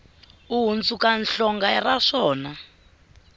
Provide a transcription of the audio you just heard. u hundzuka hlonga ra swona